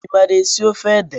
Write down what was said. I maara esi ofe ede?